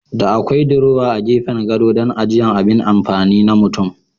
Da akwai diruwa a gefen gado dan ajiya abin amfani na mutum.